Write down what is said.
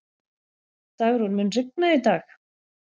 Dagrún, mun rigna í dag?